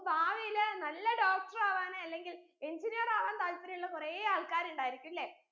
ഭാവിയിലെ നല്ല doctor ആവാനോ അല്ലെങ്കിൽ engineer ആവാൻ താല്പര്യള്ള കുറേ ആള്കാരണ്ടായിരിക്കും ലെ